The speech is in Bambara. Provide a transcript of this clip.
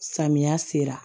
Samiya sera